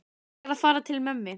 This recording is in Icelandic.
Ég er að fara til mömmu.